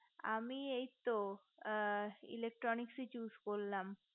আমি এইতো electronics choose করলাম